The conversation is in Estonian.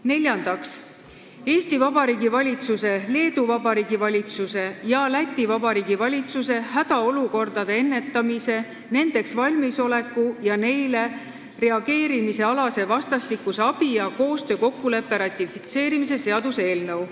Neljandaks, Eesti Vabariigi valitsuse, Leedu Vabariigi valitsuse ja Läti Vabariigi valitsuse hädaolukordade ennetamise, nendeks valmisoleku ja neile reageerimise alase vastastikuse abi ja koostöö kokkuleppe ratifitseerimise seaduse eelnõu.